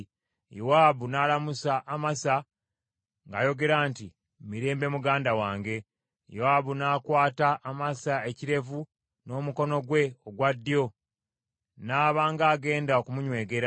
Yowaabu n’alamusa Amasa ng’ayogera nti, “Mirembe, muganda wange?” Yowaabu n’akwata Amasa ekirevu n’omukono gwe ogwa ddyo, n’aba nga agenda okumunywegera.